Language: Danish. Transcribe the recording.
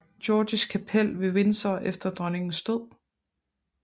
Georges kapel ved Windsor efter dronningens død